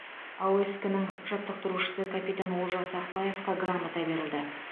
аоск ның жаттықтырушысы капитан олжас ақбаевқа грамота берілді